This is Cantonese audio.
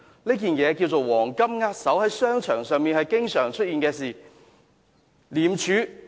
這件事名為"黃金握手"，在商場上經常出現。